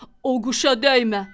O quşa dəymə.